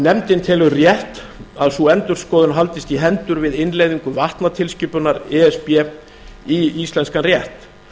nefndin telur rétt að sú endurskoðun haldist í hendur við innleiðingu vatnatilskipunar e s b í íslenskan rétt